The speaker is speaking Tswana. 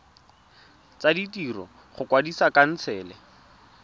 tsa ditiro go kwadisa khansele